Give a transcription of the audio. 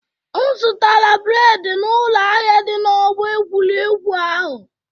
M zụtara bred n'ụlọ ahịa dị n'ọgbọ egwuregwu ahụ.